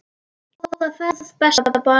Góða ferð besta barn.